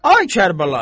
Ay Kərbəlayı!